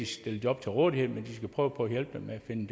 stille job til rådighed men de skal prøve på at hjælpe dem med at finde